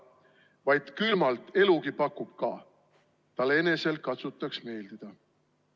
/ Vaid külmalt elugi pakub ka –/ tal enesel katsutaks' meeldida!